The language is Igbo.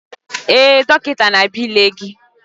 Ee, dọkịta na-abịa ịlele gị.